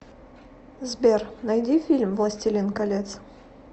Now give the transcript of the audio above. сбер найди фильм властелин колец